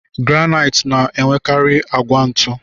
Granait na enwekari agwa ntu.